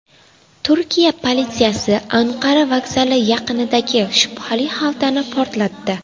Turkiya politsiyasi Anqara vokzali yaqinidagi shubhali xaltani portlatdi.